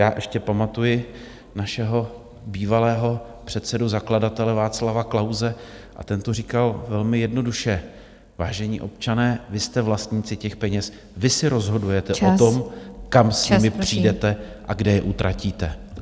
Já ještě pamatuji našeho bývalého předsedu zakladatele Václava Klause a ten to říkal velmi jednoduše: vážení občané, vy jste vlastníci těch peněz, vy si rozhodujete o tom , kam s nimi přijdete a kde je utratíte.